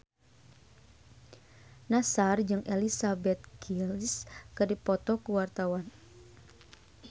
Nassar jeung Elizabeth Gillies keur dipoto ku wartawan